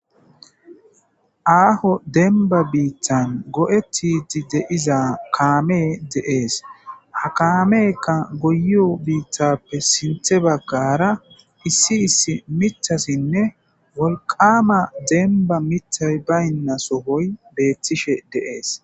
Aho demba bittan goyetidi de'iza kaammey de'es ha kameyika goyiyo bittafe sinththe bagara issi issi miththatinne wolqama demba miththay bantasoy betishshe de'es